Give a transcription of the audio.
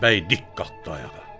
Bəy dik qalxdı ayağa.